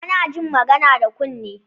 Ana jin magana da kunne